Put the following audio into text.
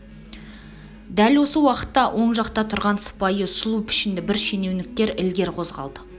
дәл осы уақытта оң жақта тұрған сыпайы сұлу пішінді бір шенеуніктер ілгер қозғалды